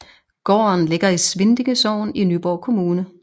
Gården ligger i Svindinge Sogn i Nyborg Kommune